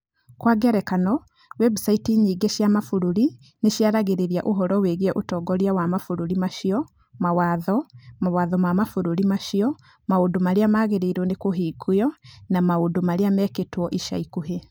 Kwa ngerekano, website nyingĩ cia mabũrũri nĩ ciaragia ũhoro wĩgiĩ ũtongoria wa mabũrũri macio, mawatho, mawatho ma mabũrũri macio, maũndũ marĩa magĩrĩire kũhingwo, na maũndũ marĩa mekĩtwo ica ikuhĩ.